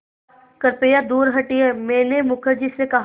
कृपया दूर हटिये मैंने मुखर्जी से कहा